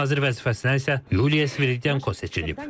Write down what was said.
Baş nazir vəzifəsinə isə Yuliya Sviridenko seçilib.